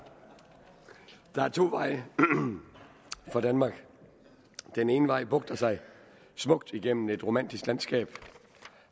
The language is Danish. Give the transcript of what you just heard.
der er to veje for danmark den ene vej bugter sig smukt igennem et romantisk landskab